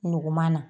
Nugu ma na